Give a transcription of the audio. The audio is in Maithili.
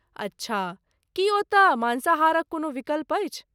अच्छा, की ओतय माँसाहारक कोनो विकल्प अछि?